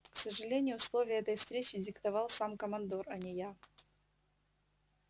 к сожалению условия этой встречи диктовал сам командор а не я